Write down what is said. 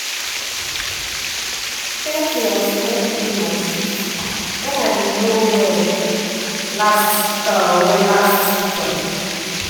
thank you as you help me do my shift when i been no well last well last weekend.